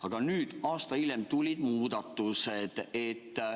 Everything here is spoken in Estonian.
Aga nüüd, aasta hiljem, tulid muudatused.